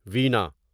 وینا